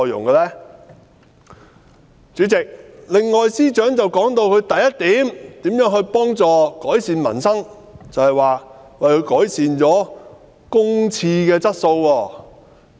代理主席，司長提到的另一點，就是當局如何改善民生，更以改善公廁質素為證。